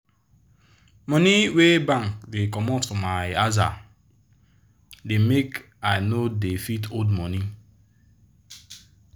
money wey bank dey comot for my aza da make i no da fit hold money